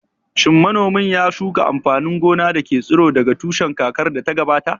Shin manomin ya shuka amfanin gona da ke tsiro daga tushe kakar da ta gabata?